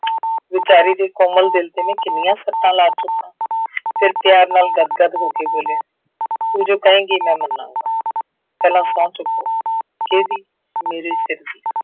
ਵਿਚਾਰੀ ਦੇ ਕੋਮਲ ਦਿੱਲ ਤੇ ਮੈਂ ਕਿੰਨੀਆਂ ਸੱਟਾਂ ਲਾ ਚੁੱਕਾਂ, ਫਿਰ ਪਿਆਰ ਨਾਲ ਗਦਗਦ ਹੋ ਕੇ ਬੋਲਿਆ, ਤੂੰ ਜੋ ਕਹੇਂਗੀ ਮੈਂ ਮੰਨਾਂਗਾ। ਪਹਿਲਾਂ ਸਹੁੰ ਚੁੱਕੋ। ਕਿਹਦੀ, ਮੇਰੇ ਸਿਰ ਦੀ।